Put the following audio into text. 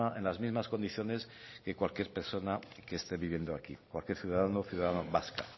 en las mismas condiciones que cualquier persona que esté viviendo aquí cualquier ciudadano o ciudadana